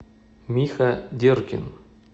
миха деркин